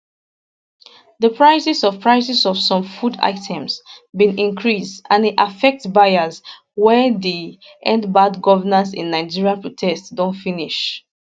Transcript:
di prices of prices of some food items bin increase and e affect buyers wen di endbadgovernanceinnigeria protest don finish